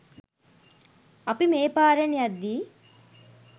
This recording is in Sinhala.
අපි මේ පාරෙන් යද්දී